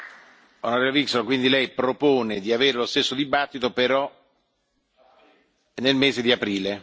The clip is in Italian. On. Wikström quindi Lei propone di avere lo stesso dibattito, però nel mese di aprile.